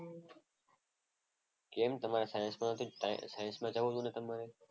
કેમ તમારે સાયન્સમાં નથી? સાયન્સમાં જવું તું ને તમારે.